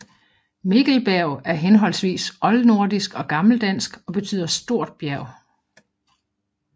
Mikkelberg er henholdsvis oldnordisk og gammeldansk og betyder stor bjerg